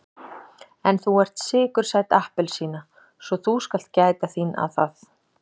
En þú ert sykursæt appelsína svo þú skalt gæta þín að það.